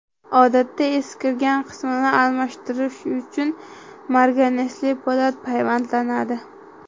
Odatda, eskirgan qismini almashtirish uchun marganesli po‘lat payvandlanadi.